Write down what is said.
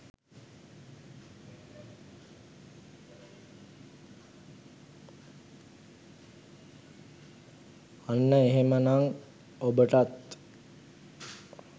අන්න එහෙම නම් ඔබටත්